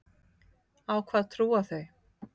Á hvað trúa þau?